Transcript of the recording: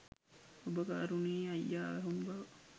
ඔබ කරුණේ අයියා වැහුණු බව